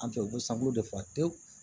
An fɛ u bɛ sankolo de fɔ pewu